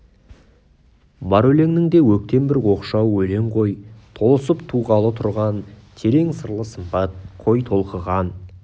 бар өлеңнен де өктем бір оқшау өлең ғой толысып туғалы тұрған терең сырлы сымбат қой толқыған